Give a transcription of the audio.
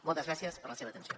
moltes gràcies per la seva atenció